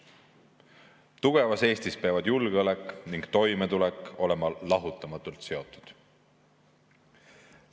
Tugevas Eestis peavad julgeolek ja toimetulek olema lahutamatult seotud.